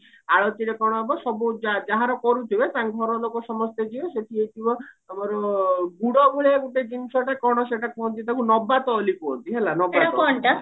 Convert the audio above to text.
ଆଳତିରେ କଣ ହବ ସବୁ ଯା ଯାହାର କରୁଥିବେ ତାଙ୍କ ଘର ଲୋକ ସମସ୍ତେ ଯିବେ ସେଠି ଆମର ଗୁଡ ଭଳିଆ ଗୋଟେ ଜିନିଷଟେ କଣ ସେଟା କଣ କୁହନ୍ତି ତାକୁ ନବାତୈଳି କୁହନ୍ତି ହେଲା